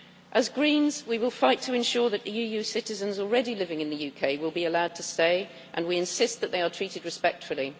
As Greens, we will fight to ensure that EU citizens already living in the UK will be allowed to stay and we insist that they are treated respectfully.